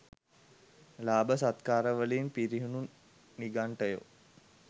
ලාභ සත්කාරවලින් පිරිහුණු නිගණ්ඨයෝ